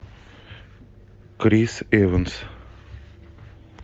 крис эванс